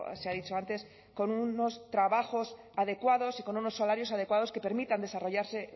se ha dicho antes con unos trabajos adecuados y con unos salarios adecuados que permitan desarrollarse